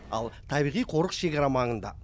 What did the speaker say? ал табиғи қорық шекара маңында